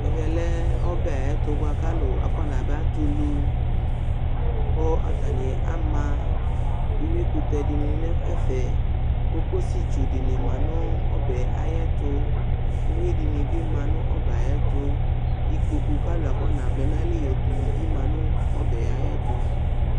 Ɛvɛ lɛ ɔbɛ ayʋ ɛtʋ bʋa kʋ alʋ akɔnaba tɛ ulu, kʋ atanɩ ama uyuikʋtɛ dɩnɩ nʋ ɛfɛ, kokosi dɩnɩ ma nʋ ɔbɛ yɛ ayʋ ɛtʋ, uyui dɩnɩ bɩ ma nʋ ɔbɛ yɛ ayʋ ɛtʋ, ikpoku kʋ alʋ akɔnavlɛ nʋ ayili yɔtɛ ulu bɩ ma nʋ ɔbɛ yɛ ayʋ ɛtʋ